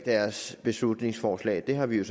deres beslutningsforslag det har vi